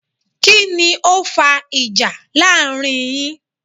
Kíni o fa ìjà láàrin yin?